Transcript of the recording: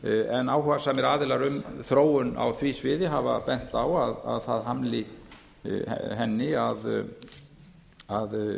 en áhugasamir aðilar um þróun á því sviði hafa bent á að það hamli henni að